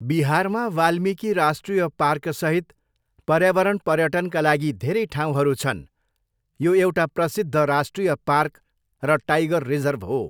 बिहारमा वाल्मीकि राष्ट्रिय पार्कसहित पर्यावरण पर्यटनका लागि धेरै ठाउँहरू छन्, यो एउटा प्रसिद्ध राष्ट्रिय पार्क र टाइगर रिजर्भ हो।